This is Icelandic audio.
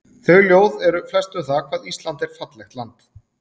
Þau ljóð eru flest um það hvað Ísland er fallegt land.